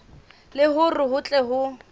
le hore ho tle ho